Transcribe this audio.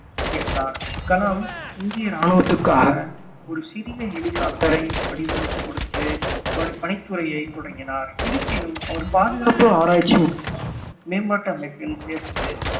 சேர்ந்தார் கலாம் இந்திய இராணுவத்திற்காக ஒரு சிறிய ஹெலிகாப்டரை வடிவமைத்துக் கொடுத்து பணி~ பணித்துறையை தொடங்கினார் இருப்பினும் அவர் பாதுகாப்பு ஆராய்ச்சி மற்றும் மேம்பாட்டு அமைப்பில் சேர்ந்து